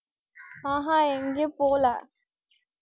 ஆஹ் ஹம் எங்கயும் போல.